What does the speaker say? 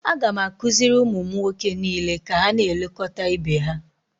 a ga m akụziri ụmụ m nwoke niile ka ha na-elekọta ibe ha